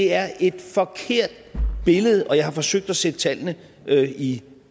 er et forkert billede og jeg har forsøgt at sætte tallene i